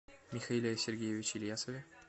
михаиле сергеевиче ильясове